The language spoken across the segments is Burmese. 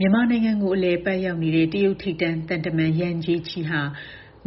မြန်မာနိုင်ငံကို အလည်အပတ်ရောက်နေတဲ့ တရုတ်ထိပ်တန်းသံတမန် ယန်ဂျေချီဟာ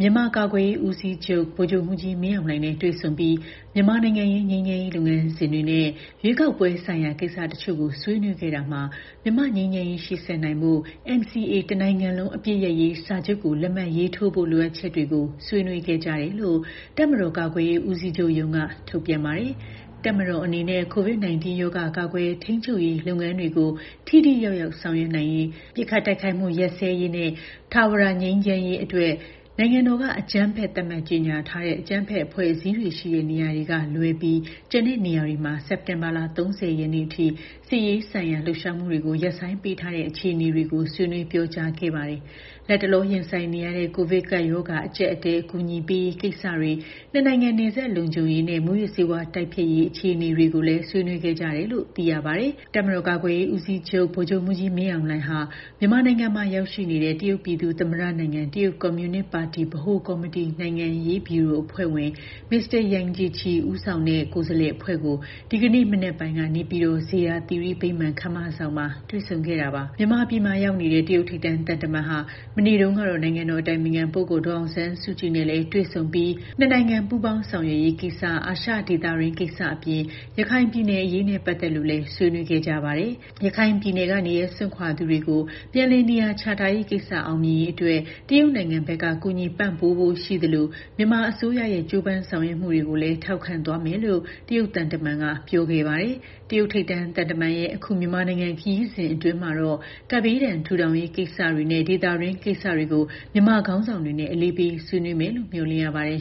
မြန်မာကာကွယ်ရေးဦးစီးချုပ် ဗိုလ်ချုပ်မှူးကြီးမင်းအောင်လှိုင်နဲ့ တွေ့ဆုံပြီး၊ မြန်မာနိုင်ငံရေးငြိမ်းချမ်ရေးလုပ်ငန်းစဉ်တွေနဲ့ ရွေးကောက်ပွဲဆိုင်ရာကိစ္စတချို့ ဆွေးနွေးခဲ့ရာမှာ မြန်မာ့ငြိမ်းချမ်းရေးရှေ့ဆက်နိုင်ဖို့ NCA တနိုင်ငံလုံးအပစ်ရပ်ရေးစာချုပ်ကို လက်မှတ်ရေးထိုးဖို့ လိုအပ်ချက်တွေ ဆွေးနွေးခဲ့ကြတယ်လို့ တပ်မတော်ကာကွယ်ရေးဦးစီးချုပ်ရုံးက ထုတ်ပြန်ပါတယ်။ တပ်မတော်အနေနဲ့ COVID-19 ရောဂါကာကွယ်ထိန်းချုပ်ရေးလုပ်ငန်းတွေကို ထိထိရောက်ရောက် ဆောင်ရွက်နိုင်ရေး၊ ပစ်ခတ်တိုက်ခိုက်မှုရပ်စဲရေးနဲ့ ထာဝရငြိမ်းချမ်းရေးအတွက် နိုင်ငံတော်ကအကြမ်းဖက် သတ်မှတ်ကြေညာထားတဲ့ အကြမ်းဖက်အဖွဲ့အစည်းတွေရှိတဲ့နေရာတွေကလွဲပြီး ကျန်တဲ့နေရာတွေမှာ စက်တင်ဘာလ ၃၀ ရက်အထိ စစ်ရေးဆိုင်ရာ လှုပ်ရှားမှုတွေကို ရပ်ဆိုင်းပေးထားတဲ့ အခြေအနေတွေကို ဆွေးနွေးပြောကြားခဲ့ပါတယ်။ လတ်တလောရင်ဆိုင်နေရတဲ့ ကိုဗစ်ကပ်ရောဂါအကြပ်အတည်း အကူအညီပေးရေးကိစ္စတွေ နှစ်နိုင်ငံ နယ်စပ်လုံခြုံရေးနဲ့ မူးယစ်ဆေးဝါးတိုက်ဖျက်ရေး အခြေအနေတွေကို ဆွေးနွေးကြတယ်လို့ သိရပါတယ်။ တပ်မတော်ကာကွယ်ရေးဦးစီးချုပ် ဗိုလ်ချုပ်မှူးကြီး မင်းအောင်လှိုင်ဟာ မြန်မာနိုင်ငံမှာ ရောက်ရှိနေတဲ့ တရုတ် ပြည်သူ့သမ္မတနိုင်ငံ၊ တရုတ်ကွန်မြူနစ်ပါတီ ဗဟိုကော်မတီနိုင်ငံရေးဗျူရိုအဖွဲ့ဝင် Mr. Yang Jiechi ဦးဆောင်တဲ့ကိုယ်စားလှယ်အဖွဲ့ကို ဒီကနေ့ မနက်ပိုင်းကနေပြည်တော် ဇေယျာသီရိဗိမာန်ဧည့်ခန်းမဆောင်မှာ တွေ့ဆုံခဲ့တာပါ။ မြန်မာပြည်ရောက်နေတဲ့ တရုတ်ထိပ်တန်းသံတမန်ဟာ မနေ့တုန်းကတော့ နိုင်ငံတော်အတိုင်ပင်ခံပုဂ္ဂိုလ်ဒေါ်အောင်ဆန်းစုကြည်နဲ့လည်း တွေ့ဆုံပြီး၊ နှစ်နိုင်ငံပူးပေါင်းဆောင်ရွက်ရေးကိစ္စ အာရှဒေသတွင်းကိစ္စအပြင် ရခိုင်ပြည်နယ်အရေးနဲ့ ပတ်သက်လို့လည်း ဆွေးနွေးခဲ့ကြပါတယ်။ ရခိုင်ပြည်နယ်က နေရပ်စွန့်ခွာသူတွေကို ပြန်လည်နေရာချထားရေးကိစ္စ အောင်မြင်ရေးအတွက် တရုတ်နိုင်ငံဘက်က ကူညီပံပိုးဖို့ရှိသလို မြန်မာအစိုးရရဲ့ ကြိုးပမ်းဆောင်ရွက်မှုတွေကိုလည်း ထောက်ခံသွားမယ်လို့ တရုတ်သံတမန်က ပြောခဲ့ပါတယ်။ တရုတ်ထိပ်တန်းသံတမန်ရဲ့ အခု မြန်မာနိုင်ငံခရီးစဉ်အတွင်းမှာတော့ ကပ်ဘေးဒဏ်ထူထောင်ရေးကိစ္စတွေနဲ့ ဒေသတွင်းကိစ္စတွေကို မြန်မာခေါင်းဆောင်တွေနဲ့ အလေးပေးဆွေးနွေးမယ်လို့ မျှော်လင့်ရပါတယ်